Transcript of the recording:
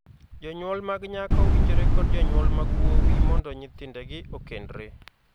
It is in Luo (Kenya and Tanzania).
Jonyuol mag nyako winjore kod jonyuol mag wuowi mondo nyithindegi okendre.